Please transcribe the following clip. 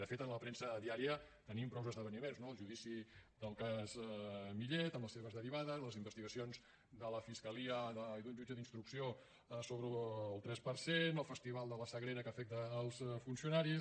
de fet en la premsa diària tenim prou esdeveniments no el judici del cas millet amb les seves derivades les investigacions de la fiscalia i d’un jutge d’instrucció sobre el tres per cent el festival de la sagrera que afecta els funcionaris